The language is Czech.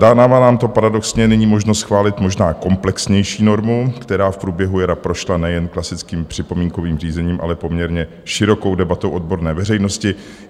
Dává nám to paradoxně nyní možnost schválit možná komplexnější normu, která v průběhu jara prošla nejen klasickým připomínkovým řízením, ale poměrně širokou debatou odborné veřejnosti.